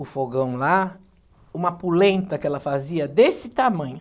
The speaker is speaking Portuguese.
o fogão lá, uma pulenta que ela fazia desse tamanho.